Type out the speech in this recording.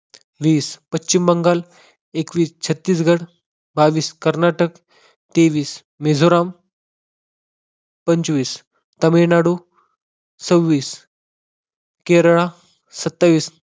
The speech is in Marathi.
वीस पश्चिम बंगाल, एकवीस छत्तीसगड, बावीस कर्नाटक, तेवीस मेझोराम, पंचवीस तामिळनाडू, सव्वीस केरळा, सत्तावीस